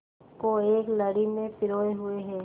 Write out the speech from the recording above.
को एक लड़ी में पिरोए हुए हैं